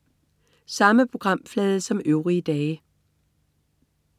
Samme programflade som øvrige dage